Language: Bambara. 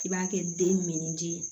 K'i b'a kɛ denni di